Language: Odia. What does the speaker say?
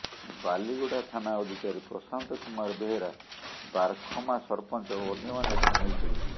ବାଲିଗୁଡା ଥାନା ଅଧିକାରୀ ପ୍ରଶାନ୍ତ କୁମାର ବେହେରା ବାରଖମା ସରପଂଚ ଓ ଅନ୍ୟମାନେ ସାମିଲଥିଲେ